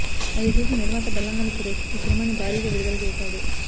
అది చూసి నిర్మాత బెల్లంకొండ సురేష్ ఈ సినిమాని భారిగా విడుదల చేశాడు